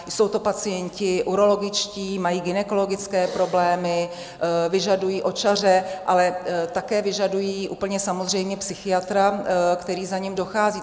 Jsou to pacienti urologičtí, mají gynekologické problémy, vyžadují očaře, ale také vyžadují úplně samozřejmě psychiatra, který za nimi dochází.